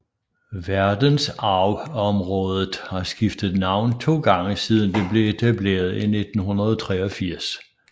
Verdensarvsområdet har skiftet navn to gange siden det blev etableret i 1983